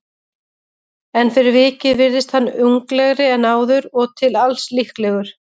En fyrir vikið virðist hann unglegri en áður og til alls líklegur.